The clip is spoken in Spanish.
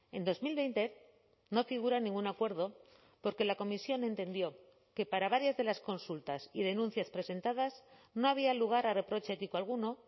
en dos mil veinte no figura ningún acuerdo porque la comisión entendió que para varias de las consultas y denuncias presentadas no había lugar a reproche ético alguno